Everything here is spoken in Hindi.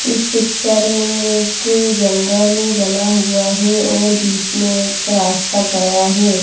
इस पिक्चर में एक जंगल बना हुआ है और बीच में एक रास्ता गया है।